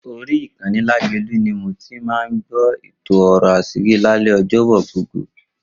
Orí ìkànnì Lágelú ni mo ti máa ń gbọ́ èto Ọ̀rọ̀ Aṣírí lálẹ́ Ọjọ́bọ̀ gbogbo.